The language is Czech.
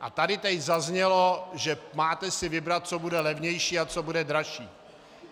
A tady teď zaznělo, že si máte vybrat, co bude levnější a co bude dražší.